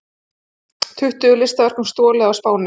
Tuttugu listaverkum stolið á Spáni